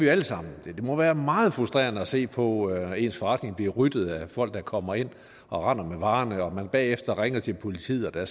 alle sammen det må være meget frustrerende at se på at ens forretning bliver ryddet af folk der kommer ind og render med varerne og at man bagefter ringer til politiet og der